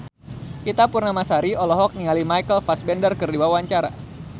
Ita Purnamasari olohok ningali Michael Fassbender keur diwawancara